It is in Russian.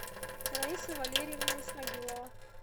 раиса валерьевна исмагилова